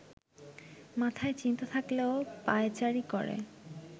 মাথায় চিন্তা থাকলেও পায়চারি করে